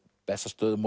Bessastöðum